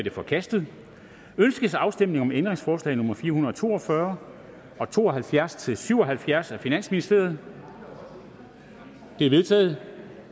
er forkastet ønskes afstemning om ændringsforslag nummer fire hundrede og to og fyrre og to og halvfjerds til syv og halvfjerds af finansministeren de er vedtaget